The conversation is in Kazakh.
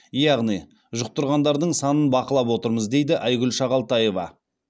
яғни жұқтырғандардың санын бақылап отырмыз дейді айгүл шағалтаева